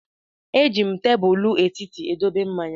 M ga-eji tebụl etiti dobe mmanya.